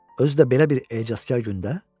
Özü də belə bir ecazkar gündə?